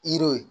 Yiriw ye